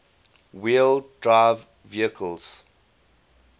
wheel drive vehicles